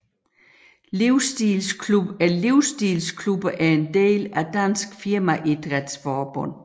Livsstilsklubberne er en del af Dansk Firmaidrætsforbund